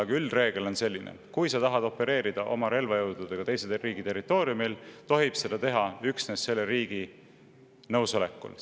Aga üldreegel on selline: kui sa tahad opereerida oma relvajõududega teise riigi territooriumil, tohib seda teha üksnes selle riigi nõusolekul.